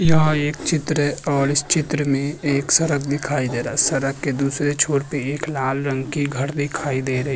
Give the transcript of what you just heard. यह एक चित्र है और इस चित्र में एक सड़क दिखाई दे रहा है। सड़क के दूसरे छोर पे एक लाल रंग की घर दिखाई दे रही है।